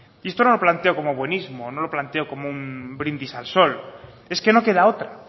esto no lo planteo como buenismo no lo planteo como un brindis al sol es que no queda otra